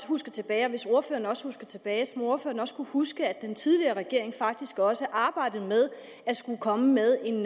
husker tilbage og hvis ordføreren også husker tilbage må ordføreren også kunne huske at den tidligere regering faktisk også arbejdede med at komme med en